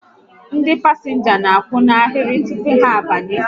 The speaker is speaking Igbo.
Ndị pasịnja n'akwụ n'ahịrị tupu ha abanye